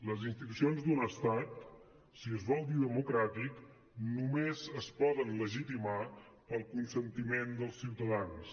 les institucions d’un estat si es vol dir democràtic només es poden legitimar pel consentiment dels ciutadans